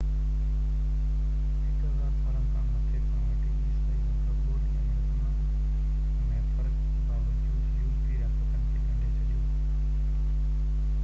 هڪ هزار سالن کان مٿي کان وٺي عيسائي مذهب ٻولي ۽ رسمن ۾ فرق جي باوجود يُورپي رياستن کي ڳنڍي ڇڏيو i